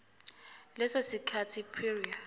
leso sikhathi prior